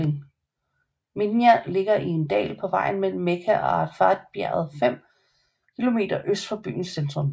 Minā ligger i en dal på vejen mellem Mekka og Arafatbjerget fem kilometer øst for byens centrum